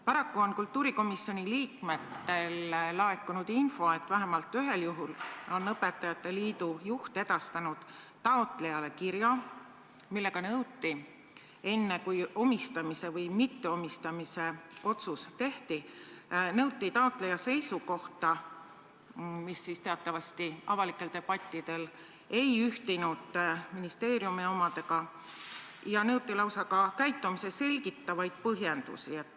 Paraku on kultuurikomisjoni liikmetele laekunud info, et vähemalt ühel juhul on õpetajate liidu juht edastanud taotlejale kirja, milles nõuti, enne kui omistamise või mitteomistamise otsus tehti, taotleja seisukohta, mis teatavasti avalikel debattidel ei olnud ühtinud ministeeriumi omadega, ja nõuti lausa ka käitumist selgitavaid põhjendusi.